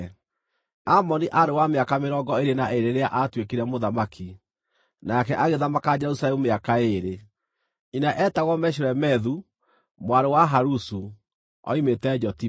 Amoni aarĩ wa mĩaka mĩrongo ĩĩrĩ na ĩĩrĩ rĩrĩa aatuĩkire mũthamaki, nake agĩthamaka Jerusalemu mĩaka ĩĩrĩ. Nyina eetagwo Meshulemethu mwarĩ wa Haruzu; oimĩte Jotiba.